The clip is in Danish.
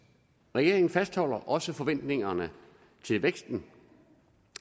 regeringen fastholder også forventningerne til væksten